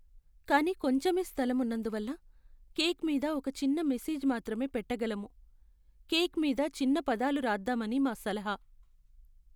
కానీ కొంచెమే స్థలం ఉన్నందువల్ల, కేక్ మీద ఒక చిన్న మెసేజ్ మాత్రమే పెట్టగలము. కేక్ మీద చిన్న పదాలు రాద్దామని మా సలహా.